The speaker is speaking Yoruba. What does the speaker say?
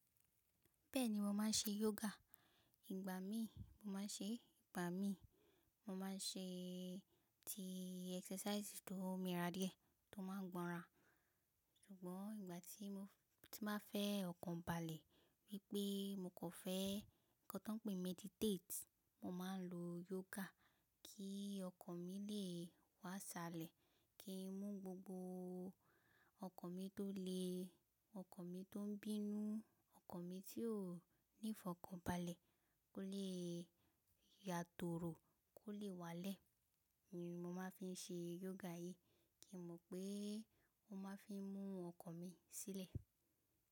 Bẹ́ẹ̀ni mo máa ń ṣe yoga. Ìgbà mí mo máa ń ṣe, ìgbà mí mo máa ń ṣe ti exercise tó mírà díẹ̀ tó máa ń gbọ́ran. Ṣùgbọ́n ìgbà tí mo tí máa fẹ́ ọkàn balẹ̀ wípé mo kò fẹ́ nǹkan tó ń pé meditate, mo máa ń lo yoga kí ọkàn mi lè wá salẹ̀, kí n mú gbogbo ọkàn mi tó le ọkàn mi tó ń bínú, ọkàn mi tí ó níìfọ̀kàn balẹ̀ kó lè yàtòrò kó lè wá lẹ̀. Mo máa ń fi ṣe yoga yìí kí n mọ̀ pé ó máa fi mú ọkàn mi sílẹ̀.